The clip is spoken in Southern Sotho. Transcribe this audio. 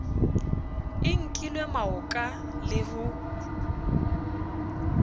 i nkilwe maoka le ho